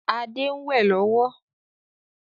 Adé ń wẹ lọ́wọ́